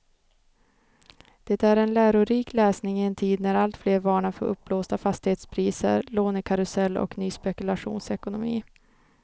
Det är en lärorik läsning i en tid när alltfler varnar för uppblåsta fastighetspriser, lånekarusell och ny spekulationsekonomi.